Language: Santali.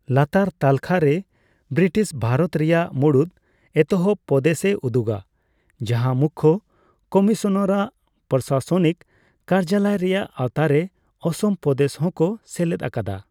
ᱞᱟᱛᱟᱨ ᱛᱟᱹᱞᱠᱷᱟᱹ ᱨᱮ ᱵᱤᱴᱤᱥ ᱵᱷᱟᱨᱚᱛ ᱨᱮᱭᱟᱜ ᱢᱩᱲᱩᱫ ᱮᱛᱚᱦᱚᱵ ᱯᱚᱫᱮᱥᱼᱮ ᱩᱫᱩᱜᱟ ᱡᱟᱦᱟᱸ ᱢᱩᱠᱠᱷᱚ ᱠᱚᱢᱤᱥᱚᱱᱟᱨᱟᱜ ᱯᱨᱚᱥᱟᱥᱚᱱᱤᱠ ᱠᱟᱨᱡᱟᱞᱚᱭ ᱨᱮᱭᱟᱜ ᱟᱣᱛᱟᱨᱮ ᱚᱥᱚᱢ ᱯᱚᱫᱮᱥ ᱦᱚᱸᱠᱚ ᱥᱮᱞᱮᱫ ᱟᱠᱟᱫᱟ ᱾